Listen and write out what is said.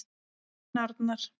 Þinn Arnar.